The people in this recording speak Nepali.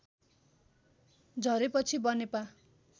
झरेपछि बनेपा